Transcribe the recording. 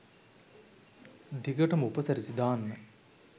දිගටම උපසිරැසි දාන්න